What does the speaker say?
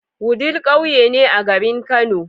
Wudil ƙauye ne a garin kano